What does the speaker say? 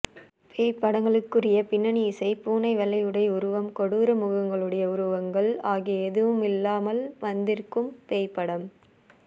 பேய்ப்படங்களுக்குரிய பின்னணிஇசை பூனை வெள்ளைஉடை உருவம் கொடூர முகங்களுடைய உருவங்கள் ஆகிய எதுவுமில்லாமல் வந்திருக்கும் பேய்ப்படம்